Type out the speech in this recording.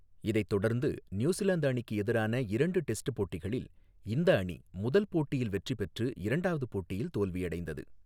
இதைத் தொடர்ந்து, நியூசிலாந்து அணிக்கு எதிரான இரண்டு டெஸ்ட் போட்டிகளில், இந்த அணி முதல் போட்டியில் வெற்றி பெற்று, இரண்டாவது போட்டியில் தோல்வியடைந்தது.